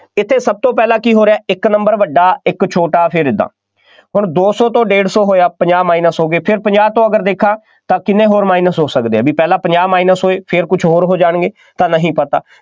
ਇੱਥੇ ਸਭ ਤੋਂ ਪਹਿਲਾਂ ਕੀ ਹੋ ਰਿਹਾ, ਇੱਕ number ਵੱਡਾ, ਇੱਕ ਛੋਟਾ, ਫੇਰ ਏਦਾਂ, ਹੁਣ ਦੋ ਸੌ ਤੋਂ ਡੇਢ ਸੌ ਹੋਇਆ, ਪੰਜਾਹ minus ਹੋ ਗਏ, ਫਿਰ ਪੰਜਾਹ ਤੋਂ ਅਗਰ ਦੇਖਾਂ ਤਾਂ ਕਿੰਨੇ ਹੋਰ minus ਹੋ ਸਕਦੇ ਆ, ਬਈ ਪਹਿਲਾਂ ਪੰਜਾਹ minus ਹੋਏ, ਫੇਰ ਕੁੱਝ ਹੋਰ ਹੋ ਜਾਣਗੇ, ਤਾਂ ਨਹੀਂ ਪਤਾ,